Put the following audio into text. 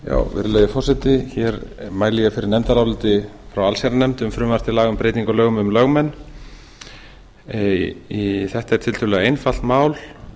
virðulegi forseti hér mæli ég fyrir nefndaráliti frá allsherjarnefnd um frumvarp til laga um breytingu á lögum um lögmenn þetta er tiltölulega einfalt mál